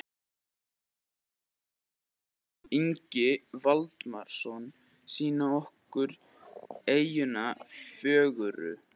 Guðmundur Þórarinsson og Þórarinn Ingi Valdimarsson sýna okkur eyjuna fögru.